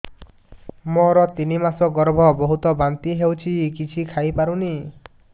ମୋର ତିନି ମାସ ଗର୍ଭ ବହୁତ ବାନ୍ତି ହେଉଛି କିଛି ଖାଇ ପାରୁନି